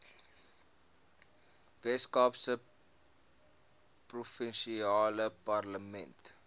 weskaapse provinsiale parlement